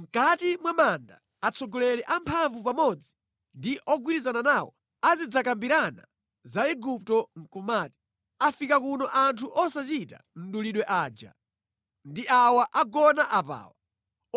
Mʼkati mwa manda atsogoleri amphamvu pamodzi ndi ogwirizana nawo azidzakambirana za Igupto nʼkumati, ‘Afika kuno anthu osachita mdulidwe aja! Ndi awa agona apawa,